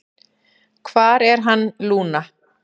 """Hvar er hann, Lúna?"""